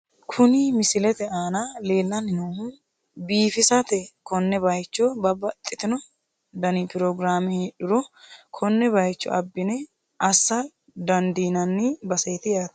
Kuni misilete aana leellanni noohu biifisate, konne bayiicho babbaxitino dani pirogiraame heedhuro konne bayiicho abbine assa dandiinanni baseeti yaate .